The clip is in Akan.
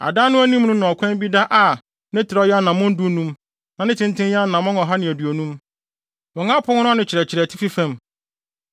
Adan no anim no na ɔkwan bi da a ne trɛw yɛ anammɔn dunum na ne tenten yɛ anammɔn ɔha ne aduonum. Wɔn apon no ano kyerɛkyerɛ atifi fam.